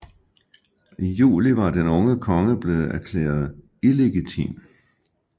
I juli var den unge konge blevet erklæret illegitim